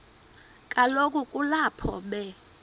kaloku kulapho be